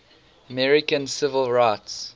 american civil rights